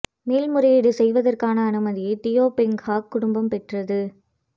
மேல் முறையீடு செய்வதற்கான அனுமதியை தியோ பெங் ஹாக் குடும்பம் பெற்றது